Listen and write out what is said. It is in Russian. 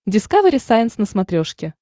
дискавери сайенс на смотрешке